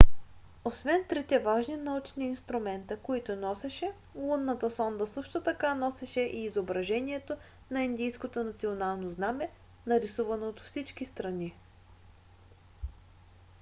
освен трите важни научни инструмента които носеше лунната сонда също така носеше и изображението на индийското национално знаме нарисувано от всички страни